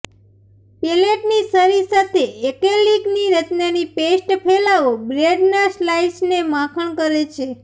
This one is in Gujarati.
પેલેટની છરી સાથે એક્રેલિકની રચનાની પેસ્ટ ફેલાવો બ્રેડના સ્લાઇસને માખણ કરે છે